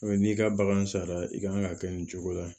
n'i ka bagan sara i kan ka kɛ nin cogo la